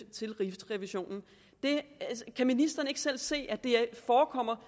til rigsrevisionen kan ministeren ikke selv se at det forekommer